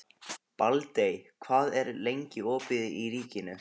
Baldey, hvað er lengi opið í Ríkinu?